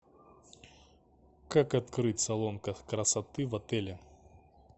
как открыть салон красоты в отеле